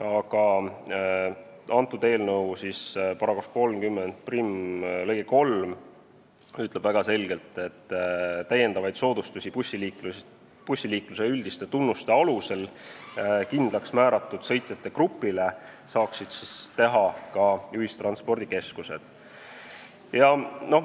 aga meie eelnõu § 301 lõige 3 ütleb väga selgelt, et täiendavaid soodustusi bussiliikluse üldiste tunnuste alusel kindlaks määratud sõitjate grupile saaksid teha ka ühistranspordikeskused.